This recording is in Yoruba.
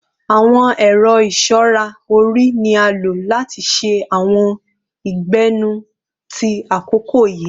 Àwọn ẹ̀rọ ìṣọra orí ni a o lo lati ṣe àwọn ìgbẹ́nú ti àkókò yìí.